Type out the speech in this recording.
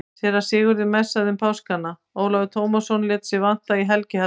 Síra Sigurður messaði um páskana, Ólafur Tómasson lét sig vanta í helgihaldið.